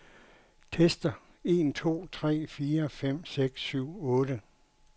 Tester en to tre fire fem seks syv otte.